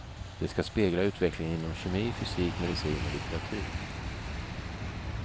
Det ska spegla utvecklingen inom kemi, fysik, medicin och litteratur.